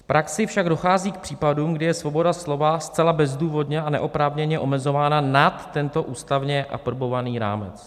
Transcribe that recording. V praxi však dochází k případům, kdy je svoboda slova zcela bezdůvodně a neoprávněně omezována nad tento ústavně aprobovaný rámec.